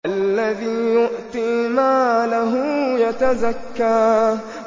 الَّذِي يُؤْتِي مَالَهُ يَتَزَكَّىٰ